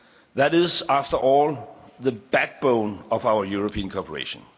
Market. That is, after all, the backbone of our European cooperation.